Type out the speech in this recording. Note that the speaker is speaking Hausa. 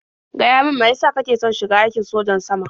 Gaya min mai ya sa kake son shiga aikin sojan sama?